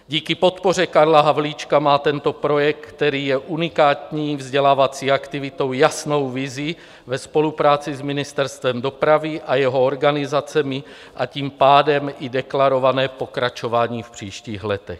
Díky podpoře Karla Havlíčka má tento projekt, který je unikátní vzdělávací aktivitou, jasnou vizi ve spolupráci s Ministerstvem dopravy a jeho organizacemi, a tím pádem i deklarované pokračování v příštích letech.